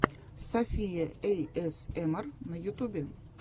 софия эйэсэмар на ютюбе